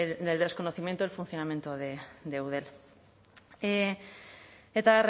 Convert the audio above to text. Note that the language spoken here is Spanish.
el desconocimiento en el funcionamiento de eudel eta